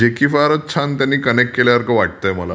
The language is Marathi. जे की फारचं छान त्यांनी कनेक्ट केल्यासारखा वाटते मला.